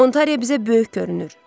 Ontariya bizə böyük görünür.